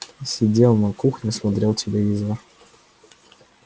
сидел на кухне смотрел телевизор